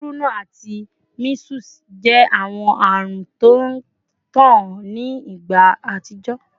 Kuruna ati measles jẹ awọn arun ti o ntan ni igba atijọ